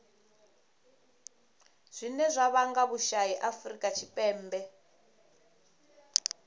zwine zwa vhanga vhusai afurika tshipembe